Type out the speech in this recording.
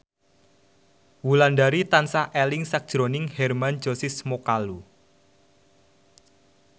Wulandari tansah eling sakjroning Hermann Josis Mokalu